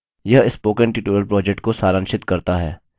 यह spoken tutorial project को सारांशित करता है